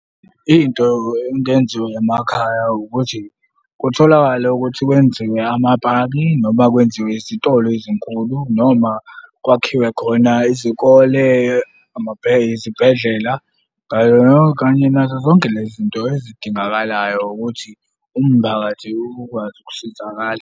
Into engenziwa emakhaya ukuthi kutholakale ukuthi kwenziwe amapaki noma kwenziwe izitolo ezinkulu noma kwakhiwe khona izikole, , izibhedlela ngayo kanye nazo zonke le zinto ezidingakalayo ukuthi umphakathi ukwazi ukusizakala.